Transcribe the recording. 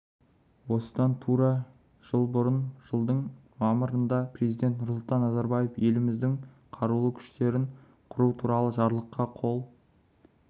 осыдан тура жыл бұрын жылдың мамырында президент нұрсұлтан назарбаев еліміздің қарулы күштерін құру туралы жарлыққа қол